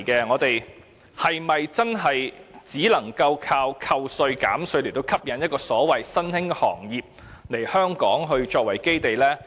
我們是否真的只能單靠寬減稅項，吸引所謂的新興行業以香港作為基地？